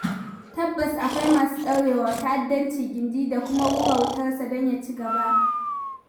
Tabbas akwai masu ɗaurewa ta'addanci gindi da kuma rura wutarsa don ya ci gaba.